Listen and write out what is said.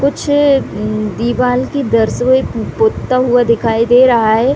कुछ दीवाल की दरसवे पोतता हुआ दिखाई दे रहा है।